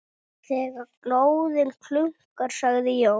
Þegar glóðin kulnaði sagði Jón